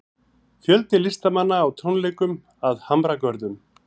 Fjöldi listamanna á tónleikum að Hamragörðum